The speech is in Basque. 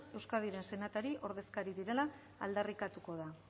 euskadiren senatari ordezkari direla aldarrikatuko da